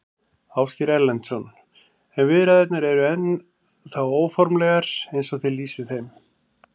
Ásgeir Erlendsson: En viðræðurnar eru ennþá óformlegar eins og þið lýsið þeim?